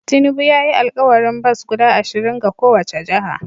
Tinubu ya yi alkawarin bas guda ashirin ga kowace jiha